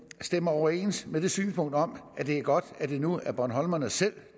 stemmer overens med det synspunkt om at det er godt at det nu er bornholmerne selv